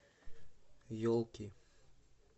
елки